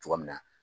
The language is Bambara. Cogoya min na